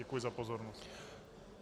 Děkuji za pozornost.